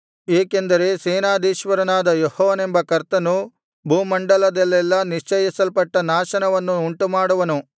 ಏಕೆಂದರೆ ಸೇನಾಧೀಶ್ವರನಾದ ಯೆಹೋವನೆಂಬ ಕರ್ತನು ಭೂಮಂಡಲದಲ್ಲೆಲ್ಲಾ ನಿಶ್ಚಯಿಸಲ್ಪಟ್ಟ ನಾಶನವನ್ನು ಉಂಟುಮಾಡುವನು